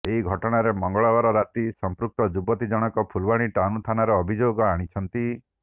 ଏହି ଘଟଣାରେ ମଙ୍ଗଳବାର ରାତିରେ ସଂପୃକ୍ତ ଯୁବତୀ ଜଣକ ଫୁଲବାଣୀ ଟାଉନ ଥାନାରେ ଅଭିଯୋଗ ଆଣିଛନ୍ତି